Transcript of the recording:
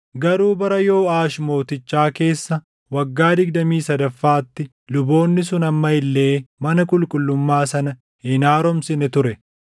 Garuu bara Yooʼaash Mootichaa keessa waggaa digdamii sadaffaatti luboonni sun amma illee mana qulqullummaa sana hin haaromsine ture.